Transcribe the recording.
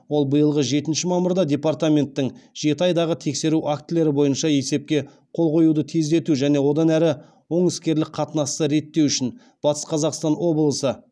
ол биылғы жетінші мамырда департаменттің жеті айдағы тексеру актілері бойынша есепке қол қоюды тездету және одан әрі оң іскерлік қатынасты реттеу үшін батыс қазақстан облысы